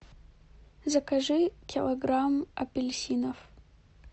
закажи килограмм апельсинов